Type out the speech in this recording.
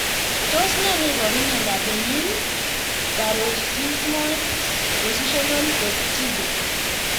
Tos nee neiparu miondop Benign paroxysmal positional vertigo?